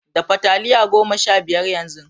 Dafa taliya goma sha biyar yanzu!